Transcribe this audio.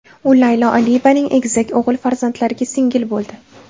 U Laylo Aliyevaning egizak o‘g‘il farzandlariga singil bo‘ldi.